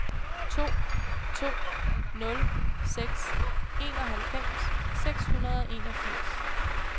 to to nul seks enoghalvfems seks hundrede og enogfirs